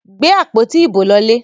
Gbé àpótí ibo lọlé!